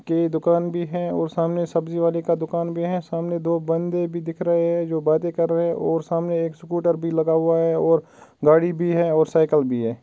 के दुकान भी है सामने सब्जी वाले का दुकान भी है। सामने दो बंदे भी दिख रहै है जो बाते कर रहै है और सामने एक स्कूटर भी लगा हुआ है और गाड़ी भी है और साइकिल भी है।